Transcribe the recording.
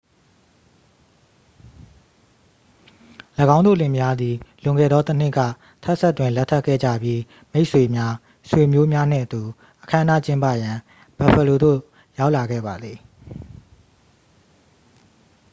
၎င်းတို့လင်မယားသည် လွန်ခဲ့သောတစ်နှစ်က texas တွင် လက်ထပ်ခဲ့ကြပြီး မိတ်ဆွေများ ဆွေမျိုးများနှင့်အတူ အခမ်းအနားကျင်းပရန် buffalo သို့ရောက်လာခဲ့ပါသည်